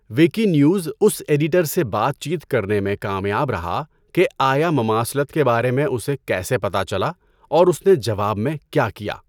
Wiki news اس editor سے بات چیت کرنے میں کامیاب رہا کہ آیا مماثلت کے بارے میں اسے کیسے پتہ چلا اور اس نے جواب میں کیا کیا۔